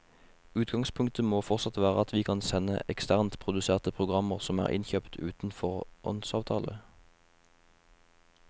Utgangspunktet må fortsatt være at vi kan sende eksternt produserte programmer som er innkjøpt uten foråndsavtale.